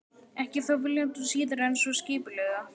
Ekki þó viljandi og síður en svo skipulega.